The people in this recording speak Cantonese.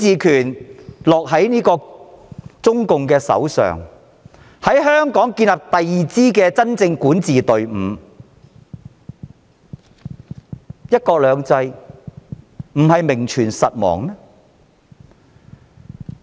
如中共掌握全面管治權，在香港建立第二支真正管治隊伍，"一國兩制"將會名存實亡。